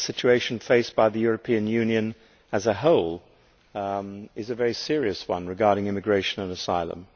The situation faced by the European Union as a whole is a very serious one regarding immigration and asylum.